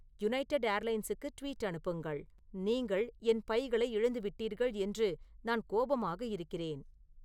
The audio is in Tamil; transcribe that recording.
யுனைடெட் ஏர்லைன்ஸுக்கு ட்வீட் அனுப்புங்கள் நீங்கள் என் பைகளை இழந்துவிட்டீர்கள் என்று நான் கோபமாக இருக்கிறேன்